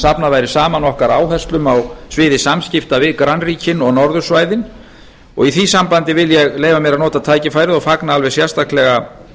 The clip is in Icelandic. safnað væri saman okkar áherslum á sviði samskipta við grannríkin og norðursvæðin og í því sambandi vil ég leyfa mér að nota tækifærið og fagna allt sérstaklega